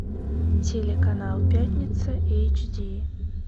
телеканал пятница эйч ди